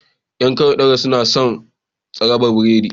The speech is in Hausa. Yan ƙauyen daura, suna son tsrabar biredi